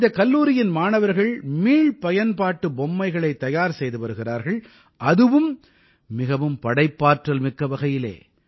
இந்தக் கல்லூரியின் மாணவர்கள் மீள்பயன்பாட்டு பொம்மைகளைத் தயார் செய்து வருகிறார்கள் அதுவும் மிகவும் படைப்பாற்றல் மிக்க வகையிலே